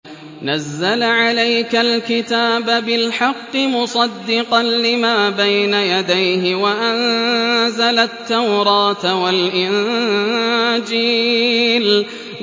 نَزَّلَ عَلَيْكَ الْكِتَابَ بِالْحَقِّ مُصَدِّقًا لِّمَا بَيْنَ يَدَيْهِ وَأَنزَلَ التَّوْرَاةَ وَالْإِنجِيلَ